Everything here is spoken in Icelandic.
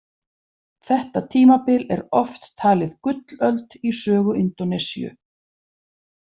Þetta tímabil er oft talið gullöld í sögu Indónesíu.